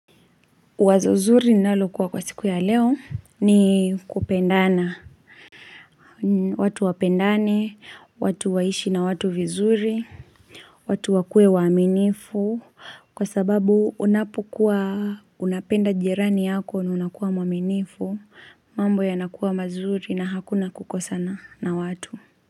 Wazo zuri nalokuwa kwa siku ya leo ni kupendana. Watu wapendane, watu waishi na watu vizuri, watu wakue waminifu. Kwa sababu unapukua unapenda jirani yako na unakuwa mwaminifu, mambo yanakuwa mazuri na hakuna kukosana na watu.